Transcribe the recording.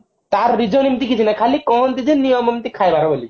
ତାହାର reason ଏମତି କିଛି ନାହିଁ ଖାଲି କହନ୍ତି ଯେ ନିୟମ ଏମତି ଖାଇବାର ବୋଲିକି